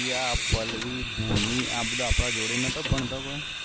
રિયા પલ્લવી ભૂમિ આ બધા જોડે નત ભણતો કોઈ